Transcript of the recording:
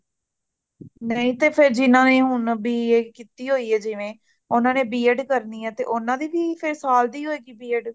ਨਹੀ ਤੇ ਫ਼ੇਰ ਜੀਨਾਨੇ ਹੋਣ B.A ਕਿੱਤੀ ਹੋਈ ਏ ਜਿਵੇ ,ਉਨ੍ਹਾਂ ਨੇ B.ED ਕਰਨੀ ਹੈ ਤੇ ਓਨਦੀ ਫ਼ੇਰ ਸਾਲ ਦੀ ਹੋਏਗੀ B.ED